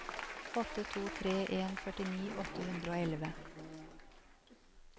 åtte to tre en førtini åtte hundre og elleve